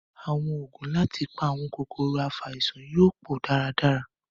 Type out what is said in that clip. Àwọn ògùn láti fi pa àwọn kòkòrò afàìsàn yóò pọ dára dára